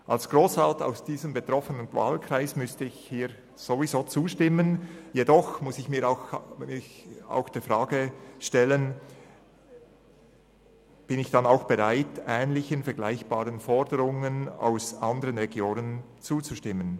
Als Grossrat aus dem betroffenen Wahlkreis müsste ich hier ohnehin zustimmen, jedoch muss ich mich auch der Frage stellen, ob ich bereit bin, vergleichbaren Forderungen aus anderen Regionen zuzustimmen.